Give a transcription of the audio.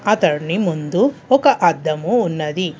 అతడ్ని ముందు ఒక అద్దము ఉన్నది.